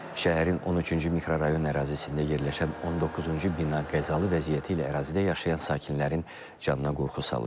Şəhərin 13-cü mikrorayon ərazisində yerləşən 19-cu bina qəzalı vəziyyəti ilə ərazidə yaşayan sakinlərin canına qorxu salırdı.